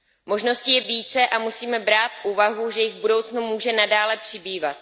Možností je více a musíme brát v úvahu, že jich v budoucnu může nadále přibývat.